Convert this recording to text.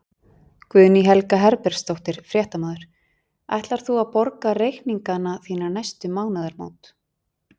Guðný Helga Herbertsdóttir, fréttamaður: Ætlar þú að borga reikningana þína næstu mánaðamót?